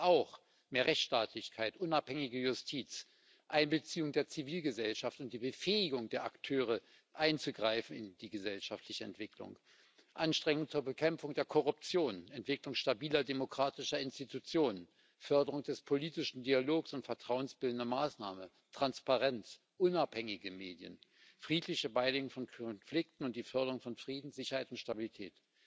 Das heißt auch mehr Rechtsstaatlichkeit, unabhängige Justiz, Einbeziehung der Zivilgesellschaft und Befähigung der Akteure, einzugreifen in die gesellschaftliche Entwicklung, Anstrengungen zur Bekämpfung der Korruption, Entwicklung stabiler demokratischer Institutionen, Förderung des politischen Dialogs und vertrauensbildender Maßnahmen, Transparenz, unabhängige Medien, friedliche Beilegung von Konflikten und Förderung von Frieden, Sicherheit und Stabilität.